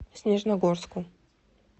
снежногорску